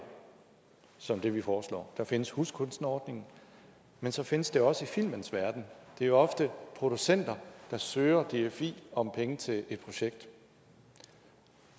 som det vi foreslår der findes huskunstnerordningen men så findes det også i filmens verden det er ofte producenter der søger dfi om penge til et projekt